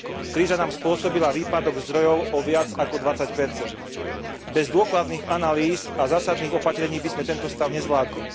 Kríza nám spôsobila výpadok zdrojov o viac ako 20 Bez dôkladných analýz a zásadných opatrení by sme tento stav nezvládli.